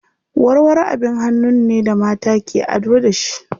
Warwaro abin hannun ne da mata ke ado da shi.